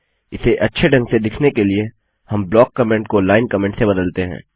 इसे अच्छे ढंग से दिखने के लिए हम ब्लॉक ब्लाक कमेन्ट को लाइन कमेंट से बदलते हैं